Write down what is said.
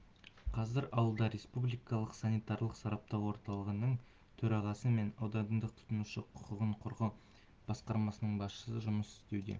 қазір ауылда республикалық санитарлық сараптау орталығының төрағасы мен аудандық тұтынушылар құқығын қорғау басқармасының басшысы жұмыс істеуде